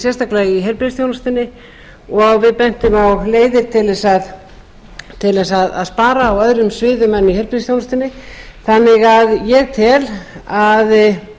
sérstaklega í heilbrigðisþjónustunni og við bentum á leiðir til þess að spara á öðrum sviðum en í heilbrigðisþjónustunni þannig að